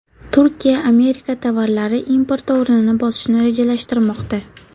Turkiya Amerika tovarlari importi o‘rnini bosishni rejalashtirmoqda.